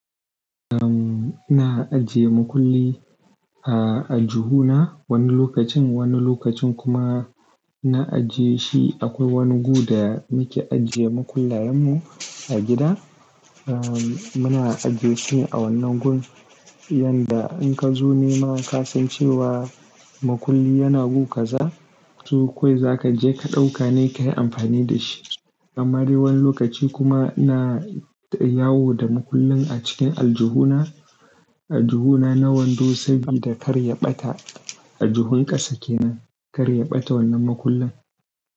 Um, ina ajiye makulli a aljihuna wani lokacin, wani lokacin kuma ina ajiye shi akwai wani gu da muke ajiye makullayen mu a gida. Um, muna ajiye su a wannan gun, yanda in ka zo nema ka san cewa makulli yana gu kaza, to kawai za ka je ka ɗauka ne ka yi amfani da shi. Amma dai wani lokaci kuma ina yawo da makullin a cikin aljihuna, aljihuna na wando saboda karya ɓata. Aljihun ƙasa kenan, karya ɓata wannan makullin.